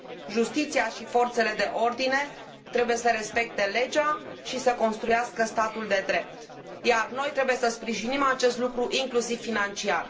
Justiția și forțele de ordine trebuie să respecte legea și să construiască statul de drept, iar noi trebuie să sprijinim acest lucru, inclusiv financiar.